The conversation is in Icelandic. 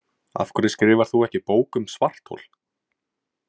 Af hverju skrifar þú ekki bók um svarthol?